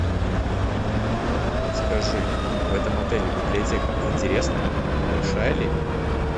скажи в этом отеле библиотека интересная большая ли